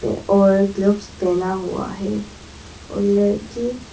और ग्लप्स पहना हुआ है और लड़की--